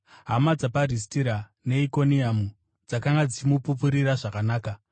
Hama dzapaRistira neIkoniamu dzakanga dzichimupupurira zvakanaka.